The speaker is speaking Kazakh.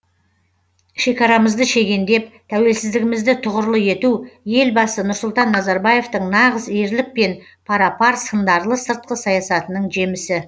шекарамызды шегендеп тәуелсіздігімізді тұғырлы ету елбасы нұрсұлтан назарбаевтың нағыз ерлікпен пара пар сындарлы сыртқы саясатының жемісі